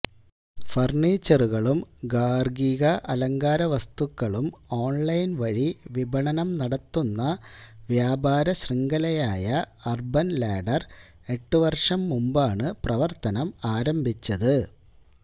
ഫര്ണിച്ചറുകളും ഗാര്ഹിക അലങ്കാര വസ്തുക്കളും ഓണ്ലൈന്വഴി വിപണനം നടത്തുന്ന വ്യാപാര ശൃംഖലയായ അര്ബന് ലാഡര് എട്ടുവര്ഷം മുമ്പാണ് പ്രവര്ത്തനം ആരംഭിച്ചത്